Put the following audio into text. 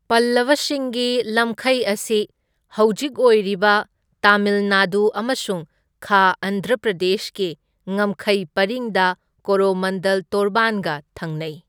ꯄꯜꯂꯕꯁꯤꯡꯒꯤ ꯂꯝꯈꯩ ꯑꯁꯤ ꯍꯧꯖꯤꯛ ꯑꯣꯏꯔꯤꯕ ꯇꯥꯃꯤꯜ ꯅꯥꯗꯨ ꯑꯃꯁꯨꯡ ꯈꯥ ꯑꯟꯙ꯭ꯔ ꯄ꯭ꯔꯗꯦꯁꯀꯤ ꯉꯝꯈꯩ ꯄꯔꯤꯡꯗ ꯀꯣꯔꯣꯃꯟꯗꯜ ꯇꯣꯔꯕꯥꯟꯒ ꯊꯪꯅꯩ꯫